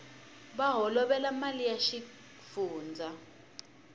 va holovela mali ya xifundzha